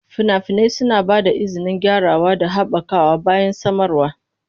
Fina-finai suna ba da izinin gyarawa da haɓakawa bayan samarwa.